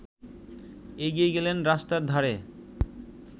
এগিয়ে গেলেন রাস্তার ধারে